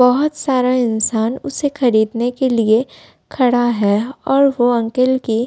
बहोत सारा इंसान उसे खरीदने के लिए खड़ा है और वो अंकल की --